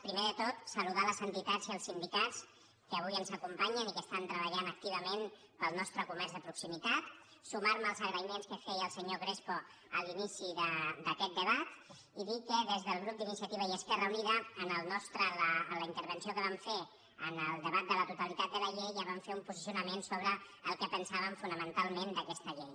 primer de tot saludar les entitats i els sindicats que avui ens acompanyen i que estan treballant activament pel nostre comerç de proximitat sumar me als agraïments que feia el senyor crespo a l’inici d’aquest debat i dir que des del grup d’iniciativa i esquerra unida en la intervenció que vam fer en el debat de la totalitat de la llei ja vam fer un posicionament sobre el que pensàvem fonamentalment d’aquesta llei